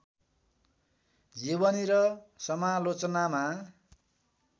जीवनी र समालोचनामा